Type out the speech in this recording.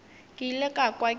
ke ile ka kwa ke